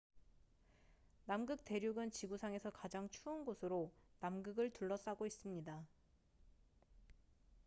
남극 대륙은 지구상에서 가장 추운 곳으로 남극을 둘러싸고 있습니다